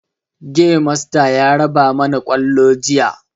Gemasta ya raba mana kwallo juya